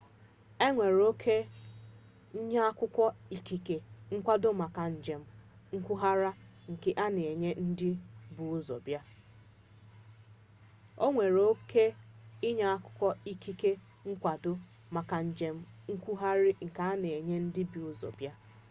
enwere oke nye akwụkwọ ikike nkwado maka njem nkwugharị nke a na enye ndị bu ụzọ bịa